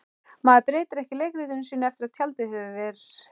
Maður breytir ekki leikritinu sínu eftir að tjaldið hefur ver